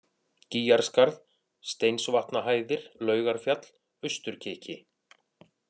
Gýgjarskarð, Steinsvatnahæðir, Laugarfjall, Austurkiki